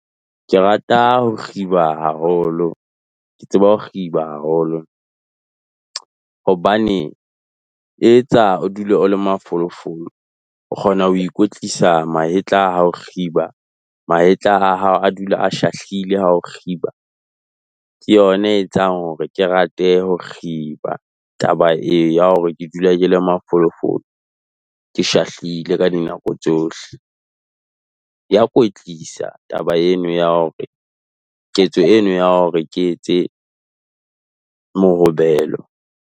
Ke rata ho kgiba haholo, ke tseba ho kgiba haholo. Hobane e etsa o dule o le mafolofolo, o kgona ho ikwetlisa mahetla ha o kgiba. Mahetla a hao a dula a shahlile ha o kgiba, ke yona e etsang hore ke rate ho kgiba taba eo ya hore ke dule ke le mafolofolo, ke shahlile ka dinako tsohle. Ya kwetlisa taba eno ya hore ketso eno ya hore ke etse mohobelo.